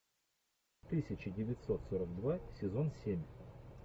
тысяча девятьсот сорок два сезон семь